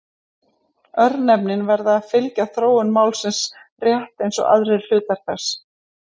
Örnefnin verða að fylgja þróun málsins rétt eins og aðrir hlutar þess.